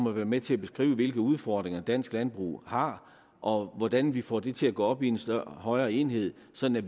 om at være med til at beskrive hvilke udfordringer dansk landbrug har og hvordan vi får det til at gå op i en højere enhed så vi